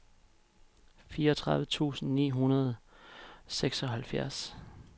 fireogtredive tusind ni hundrede og seksoghalvfjerds